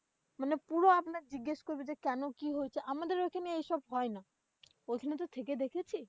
মানে পুরো আপনাকে জিজ্ঞেস করবে, কেন কি হচ্ছে? আমাদের ঐখানে এইসব হয়না। ঐখানে তো থেকে দেখেছি।